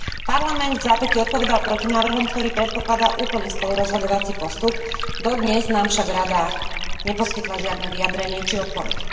Parlament vzápätí odpovedal protinávrhom, ktorý predpokladá úplný spolurozhodovací postup, dodnes nám však Rada neposkytla žiadne vyjadrenie či odpoveď.